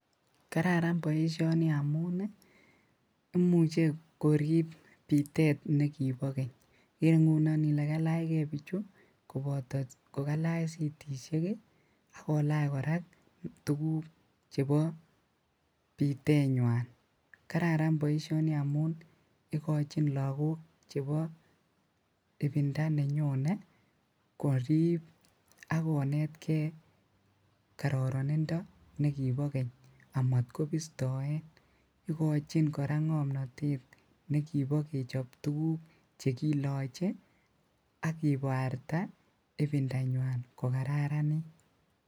Kararan boisioni amun imuche korip bitet nekipo keny ikere ngunon ile kalaachke bichu kopoto kokalach sitisiek akolach, kora tukuk chepo bitenywan. Kararan boisioni amun ikochin lakok chepo ibinda nyenyone korip akonetke kororonindo nekipo keny amotkopistoen ikochin kora ng'omnotet nekipo kechop tukuk chekiloche akiparta ibindanywan kokararanit.